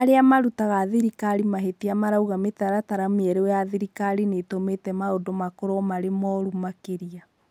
Arĩa marũtaga thirikari mahĩtia marauga mitaratara mĩerũ ya thirikari nitũmĩte maundũ makorwo marĩ morũ makĩria